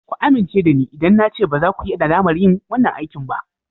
Ku amince da ni idan na ce baza ku yi nadamar yin wanan aikin ba.